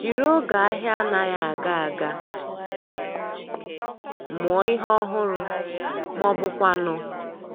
Jiri oge ahia anaghi aga aga mụọ ihe ọhụrụ ma ọ bụkwanụ